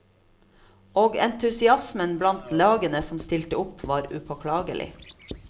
Og entusiasmen blant lagene som stilte opp, var upåklagelig.